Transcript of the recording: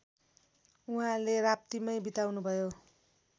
उहाँले राप्तीमै बिताउनुभयो